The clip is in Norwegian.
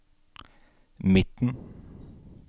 midten